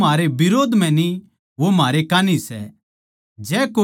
क्यूँके जो म्हारै बिरोध म्ह न्ही वो म्हारै कान्ही सै